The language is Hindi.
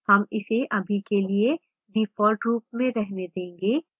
हम इसे अभी के लिए default रूप में रहने देंगे